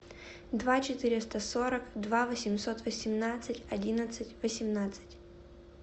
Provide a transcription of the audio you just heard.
два четыреста сорок два восемьсот восемнадцать одиннадцать восемнадцать